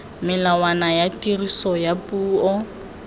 melawana ya tiriso ya puo